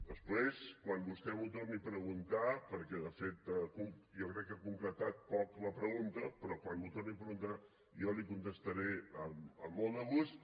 després quan vostè m’ho torni a preguntar perquè de fet jo crec que ha concretat poc la pregunta però quan m’ho torni a preguntar jo li contestaré amb molt de gust